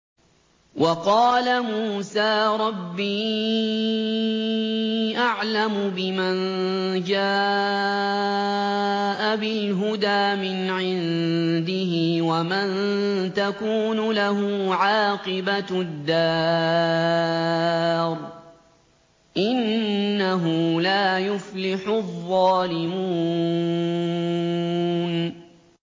وَقَالَ مُوسَىٰ رَبِّي أَعْلَمُ بِمَن جَاءَ بِالْهُدَىٰ مِنْ عِندِهِ وَمَن تَكُونُ لَهُ عَاقِبَةُ الدَّارِ ۖ إِنَّهُ لَا يُفْلِحُ الظَّالِمُونَ